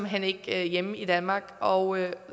hen ikke hjemme i danmark og